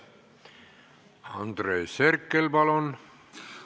Andres Herkel, palun!